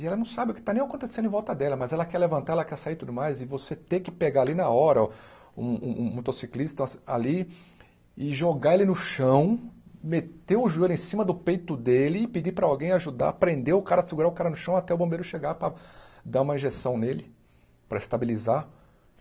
E ela não sabe o que está nem acontecendo em volta dela, mas ela quer levantar, ela quer sair e tudo mais, e você ter que pegar ali na hora um um um motociclista ali e jogar ele no chão, meter o joelho em cima do peito dele e pedir para alguém ajudar, prender o cara, segurar o cara no chão até o bombeiro chegar para dar uma injeção nele, para estabilizar.